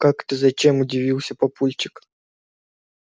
как это зачем удивился папульчик